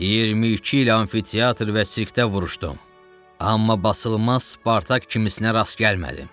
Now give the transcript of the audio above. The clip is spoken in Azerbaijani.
22 il amfiteatr və sirkdə vuruşdum, amma basılmaz Spartak kimisinə rast gəlmədim.